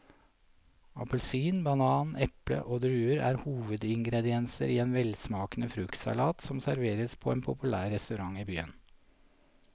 Appelsin, banan, eple og druer er hovedingredienser i en velsmakende fruktsalat som serveres på en populær restaurant i byen.